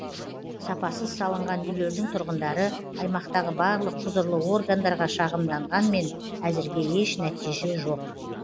сапасыз салынған үйлердің тұрғындары аймақтағы барлық құзырлы органдарға шағымданғанмен әзірге еш нәтиже жоқ